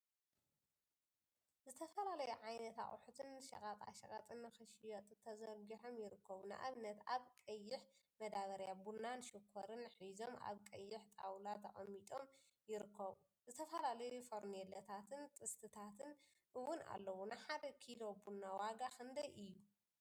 ዝተፈላዩ ዓይነት አቁሑትን ሸቀጣሸቀጥን ንክሽየጡ ተዘርጊሖም ይርከቡ፡፡ ንአብነት አብ ቀይሕ መዳበርያ ቡናን ሽኮርን ሒዞም አብ ቀይሕ ጣውላ ተቀሚጦም ይርከቡ፡፡ ዝትፈላለዩ ፈርኔሎታትን ጥስቲታትን እውን አለው፡፡ ንሓደ ኪሎ ቡና ዋጋ ክንደይ እዩ?